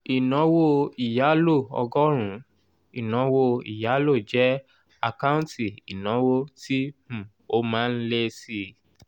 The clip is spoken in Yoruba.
ìnáwó ìyálò ọgọ́rùn-ún ìnáwó ìyálò jẹ́ àkáǹtì ìnáwó tí um ó má ń lé síi.